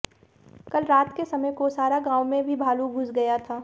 कल रात के समय कोसारा गांव में भी भालू घुस गया था